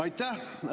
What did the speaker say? Aitäh!